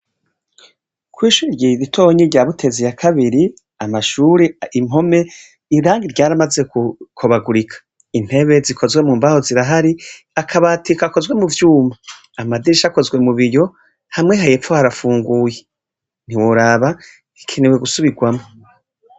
Kw'ishure ritoyi rya Butezi ya kabiri, amashuri, impome irangi ryaramaze gukobagurika. Intebe zo mu mbaho zirahari, akabati gakozwe muvyuma, amadirisha akoze mu biyo, hamwe hepfo harapfunguye. Ntiworaba rikenewe gusubirwamwo.